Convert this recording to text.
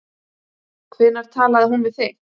Hvenær talaði hún við þig?